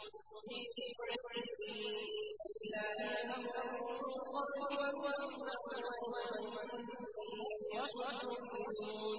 فِي بِضْعِ سِنِينَ ۗ لِلَّهِ الْأَمْرُ مِن قَبْلُ وَمِن بَعْدُ ۚ وَيَوْمَئِذٍ يَفْرَحُ الْمُؤْمِنُونَ